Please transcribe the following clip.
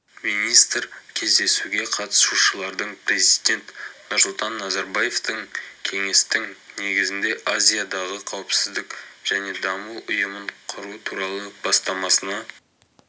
министр кездесуге қатысушылардың президент нұрсұлтан назарбаевтың кеңестің негізінде азиядағы қауіпсіздік және даму ұйымын құру туралы бастамасына